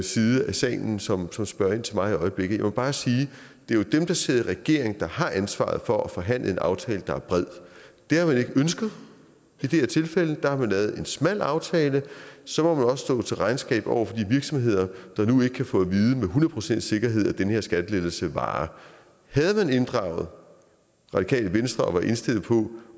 side af salen som som spørger ind til mig i øjeblikket jeg vil bare sige at det jo er dem der sidder i regering der har ansvaret for at forhandle en aftale der er bred det har man ikke ønsket i det her tilfælde har man lavet en smal aftale og så må man også stå til regnskab over for de virksomheder der nu ikke kan få at vide med hundrede procents sikkerthed at den her skattelettelse varer havde man inddraget radikale venstre og var indstillet på